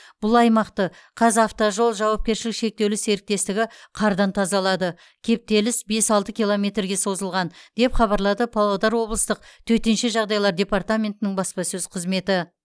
бұл аймақты қазавтожол жауапкершілігі шектеулі серіктестігі қардан тазалады кептеліс бес алты километрге созылған деп хбарлады павлодар облыстық төтенше жағдайлар департаментінің баспасөз қызметі